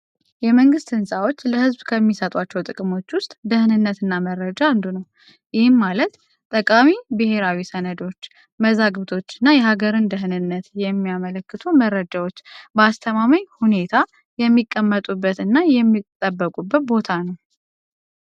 የመንግስት ንፃዎች ለህዝብ ከሚሰጧቸው ጥቅሞች ውስጥ ደህንነትና መረጃ አንዱ ነው። ይህም ማለት ጠቃሚ ብሄራዊ ሰነዶች መዛግብቶችና የሀገርን ደህንነት የሚያመልክቶ መረዳት በአስተማማኝ ሁኔታ የሚቀመጡበት እና የሚጠበቁበት ቦታ ነው።